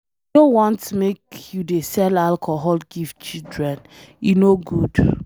I no want make you dey sell alcohol give children, e no good.